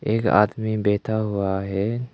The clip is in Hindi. एक आदमी बैठा हुआ है।